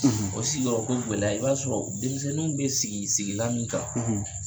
O sigiyɔrɔko gɛlɛya i b'a sɔrɔ denmisɛnninw bɛ sigi sigilan min kan.